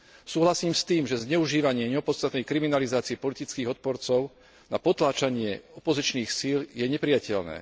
Súhlasím s tým, že zneužívanie neopodstatnenej kriminalizácie politických odporcov na potláčanie opozičných síl je neprijateľné.